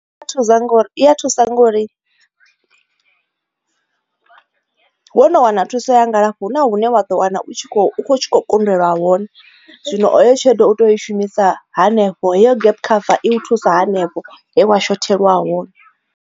I a thusa ngori i ya thusa ngori wo no wana thuso ya ngalafho hu na hune wa ḓo wana u tshi kho kundelwa hone, zwino heyo tsheledo u tea ui shumisa hanefho heyo game cover i u thusa hanefho he wa shothelwa hone.